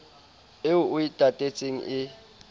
eo o e tatetseng e